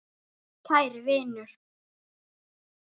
Kæri vinur!